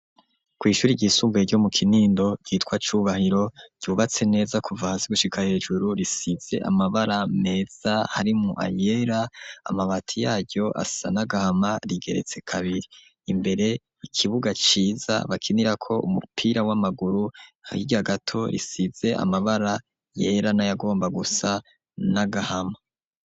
Kw'ishuri ryisumbuye, ryo mu Kinindo, ryitwa Cubahiro, ryubatse neza, kuva hasi gushika hejuru, risize amabara meza, harimwo ayera; amabati yaryo, asa n'agahama; rigeretse kabiri; imbere, ikibuga ciza bakinirako umupira w'amaguru, hirya gato, risize amabara yera, n'ayagomba gusa n'agahama.